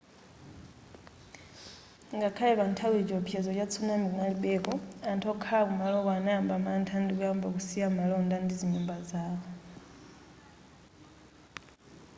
ngakhale panthawiyi chiwopsezo cha tsunami kunalibeko anthu okhala kumaloko anayamba mantha ndikuyamba kusiya malonda ndi zinyumba zawo